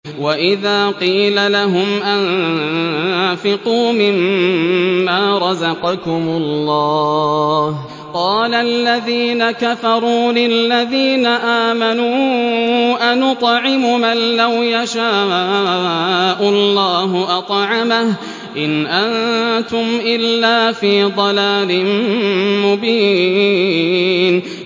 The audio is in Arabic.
وَإِذَا قِيلَ لَهُمْ أَنفِقُوا مِمَّا رَزَقَكُمُ اللَّهُ قَالَ الَّذِينَ كَفَرُوا لِلَّذِينَ آمَنُوا أَنُطْعِمُ مَن لَّوْ يَشَاءُ اللَّهُ أَطْعَمَهُ إِنْ أَنتُمْ إِلَّا فِي ضَلَالٍ مُّبِينٍ